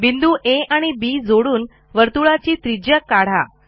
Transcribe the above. बिंदू आ आणि बी जोडून वर्तुळाची त्रिज्या काढा